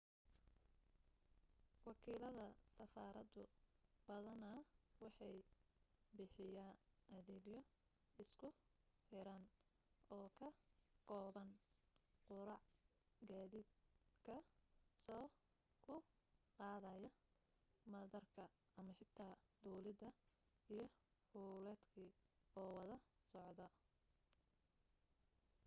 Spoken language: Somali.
wakiilada safaradu badanaa waxay bixiyaa adeegyo isku xiran oo ka kooban quraac gaadiid kaa soo / kuu qaadaya madaarka ama xitaa duulimaad iyo hudheelkii oo wada socda